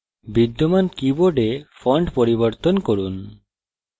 বিদ্যমান keyboard font পরিবর্তন করুন